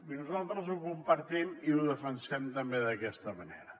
i nosaltres ho compartim i ho defensem també d’aquesta manera